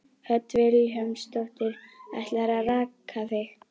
Hödd Vilhjálmsdóttir: Ætlarðu að raka þig?